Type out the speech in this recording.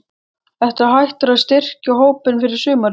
Ertu hættur að styrkja hópinn fyrir sumarið?